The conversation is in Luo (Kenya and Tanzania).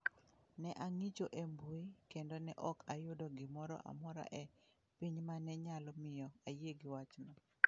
Ne ang'icho e mbui kendo ne ok ayudo gimoro amora e piny ma ne nyalo miyo ayie gi wachno.